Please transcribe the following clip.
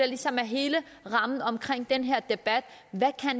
ligesom er hele rammen om den her debat er hvad